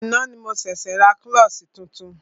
Àná ni mo ṣẹ̀ṣė ra klọ́ṣí tuntun.